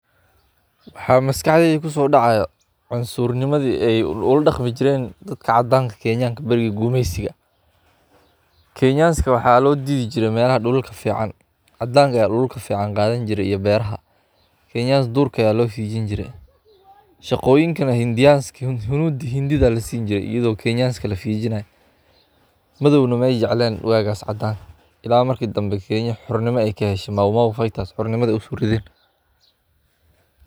Dawladdii Boqortooyada Ingiriiska ee xukunkii gumeysiga ayaa qabsaday dhulal badan oo dunida ku yaal, gaar ahaan bariga Afrika iyo qaaradda Aasiya, halkaas oo ay ku dhaqan galeen nidaamyo siyaasadeed, dhaqaale, iyo bulsho oo u adeegay macluumaadkooda, iyadoo aan loo maleynayn rabitaanka iyo xuquuqda dadka deegaanka ah, taas oo keentay in ay dhibaatooyin badan.